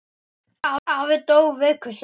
Afi dó viku seinna.